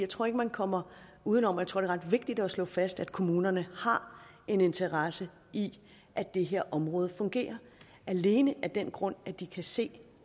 tror ikke man kommer uden om og jeg tror det er ret vigtigt at slå fast at kommunerne har en interesse i at det her område fungerer alene af den grund at de kan se